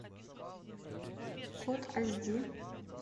кот аз ди